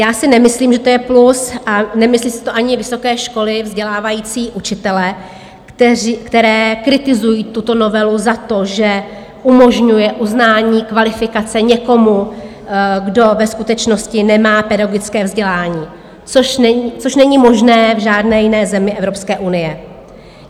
Já si nemyslím, že to je plus, a nemyslí si to ani vysoké školy vzdělávající učitele, které kritizují tuto novelu za to, že umožňuje uznání kvalifikace někomu, kdo ve skutečnosti nemá pedagogické vzdělání, což není možné v žádné jiné zemi Evropské unie.